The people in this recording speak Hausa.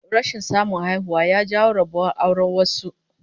Rashin samun haihuwa ya jawo rabuwar auren wasu